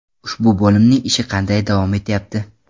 Ushbu bo‘limning ishi qanday davom etyapti?